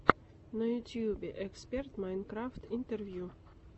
на ютьюбе эксперт майнкрафт интервью